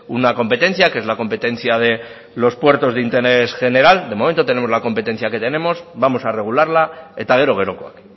una competencia que es la competencia de los puertos de interés general de momento tenemos la competencia que tenemos vamos a regularla eta gero gerokoak